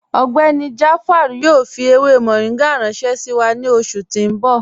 Ọgbẹ́ni Jaafar yoo fi ewé moringa ranṣẹ̀ sí wa ni oṣù ti n bọ̀.